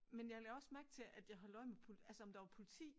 Men jeg lagde også mærke til at jeg holdt øje med pol altså om der var politi